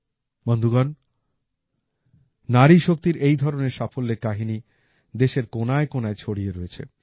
বন্ধুগণ নারী শক্তির এই ধরনের সাফল্যের কাহিনী দেশের কোনায় কোনায় ছড়িয়ে রয়েছে